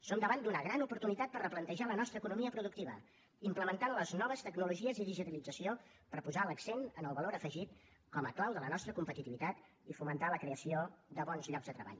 som davant d’una gran oportunitat per replantejar la nostra economia productiva implementant les noves tecnologies i digitalització per posar l’accent en el valor afegit com a clau de la nostra competitivitat i fomentar la creació de bons llocs de treball